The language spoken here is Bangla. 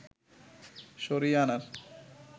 সরিয়ে আনার